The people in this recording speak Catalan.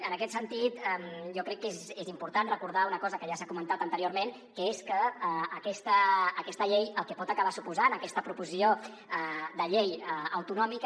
en aquest sentit jo crec que és important recordar una cosa que ja s’ha comentat anteriorment que és que aquesta llei el que pot acabar suposant aquesta proposició de llei autonòmica